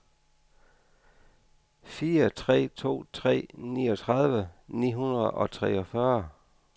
fire tre to tre niogtredive ni hundrede og treogfyrre